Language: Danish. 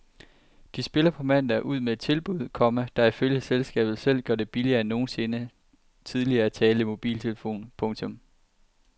De spiller på mandag ud med et tilbud, komma der ifølge selskabet selv gør det billigere end nogensinde tidligere at tale i mobiltelefon. punktum